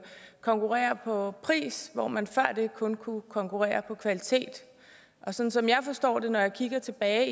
konkurrere på pris hvor man før det kun kunne konkurrere på kvalitet som som jeg forstår det når jeg kigger tilbage